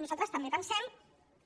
nosaltres també pensem